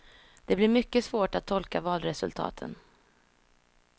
Det blir mycket svårt att tolka valresultaten.